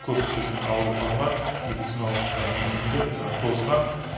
көп біздің ауруханалар медициналық мекемелер тозған